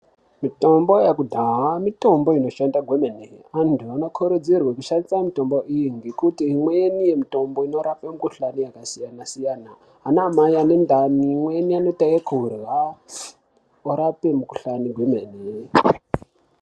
Mitombo yekudhaya mitombo inoshanda kwemene. Antu anokurudzirwe kushandise mitombo iyi ngekuti imweni yemitombo inorape mikhuhlane yakasiyana-siyana. Anaamai ane ndani, imweni anoite yekurya orape mikhuhlane kwemene.